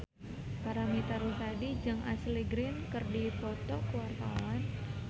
Paramitha Rusady jeung Ashley Greene keur dipoto ku wartawan